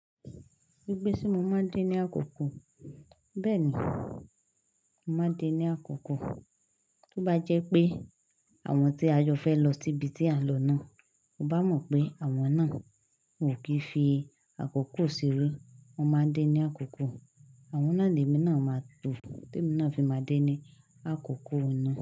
Gbigbe tí mo máa ń dé ní àkókò, bẹ́ẹ̀ ni, máa ń dé ní àkókò. Tí ó bá jẹ́ pé àwọn tí a yọ fẹ́ lọ síbi tí a ń lọ náà, mo bá mọ̀ pé àwọn náà kò kí fi àkókò ṣeré, wọ́n máa ń dé ní àkókò. Àwọn náà ni èmi náà máa to, èmi náà fi máa ń dé ní àkókò náà.